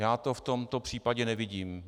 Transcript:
Já to v tomto případě nevidím.